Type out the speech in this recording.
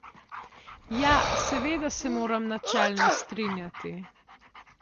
Ja, seveda se moram načelno strinjati.